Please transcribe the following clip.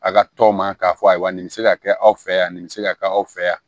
A ka tɔw ma k'a fɔ a ye wa nin bɛ se ka kɛ aw fɛ yan nin bɛ se ka kɛ aw fɛ yan